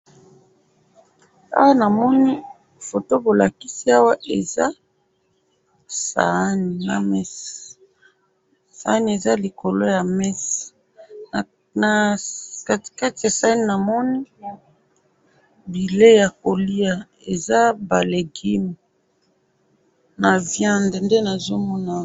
awa namoni foto bolakisi awa eza sahani na mesa, sahani ezali na biloko ya mesa na katikati ya sahani namoni bileyi ya koliya eza ba legume naba viande nde nazomona awa.